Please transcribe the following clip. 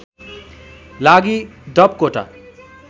लागि डप कोटा